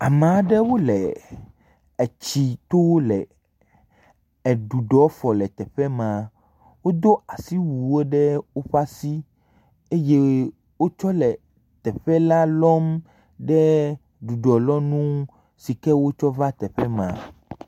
Ame aɖewo le etsito le ɖuɖɔ fɔ le teƒe ma, wodo asiwuwo ɖe woƒe asi eye wotsɔ le teƒe la lɔm ɖe ɖuɖɔlɔnu si ke wotsɔ va teƒe ma.